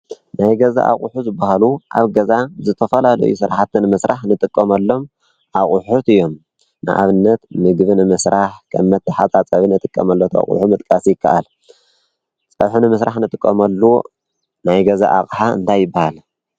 ናይ ገዛ ኣቝሑ ዝበሃሉ ኣብ ገዛ ዝተፈላልዩ ስራሓት ንምስራሕ ንጥቆመሎም ኣቝሑት እዮም። ንኣብነት ምግብ ንምስራሕ ኸም መተሓፃፀቢ እትቀመሎ ኣቝሑ ምጥቃስ ይከኣል። ጸብሒ ን ምስራሕ ንጥቆመሉ ናይ ገዛ ኣቕሓ እንታይ ይበሃል?